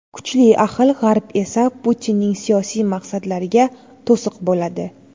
Kuchli ahil G‘arb esa Putinning siyosiy maqsadlariga to‘siq bo‘ladi.